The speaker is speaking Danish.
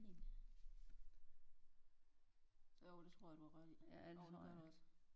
Jo det tror jeg du har ret i jo det gør der også